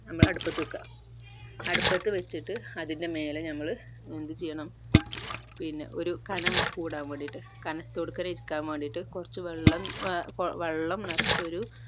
നമ്മൾ അടപ്പത് വെക്ക അടുപ്പത് വെച്ചിട്ട് അതിൻ്റെ മേലെ നമ്മൾ എന്ത്‌ ചെയ്യണം പിന്നെ ഒരു കനം കൂടാൻ വേണ്ടിട്ട് കനം ഇരിക്കാൻവേണ്ടീട്ട് കുറച്ച് വെള്ളം ഏർ വെള്ളം നിറച്ചൊരു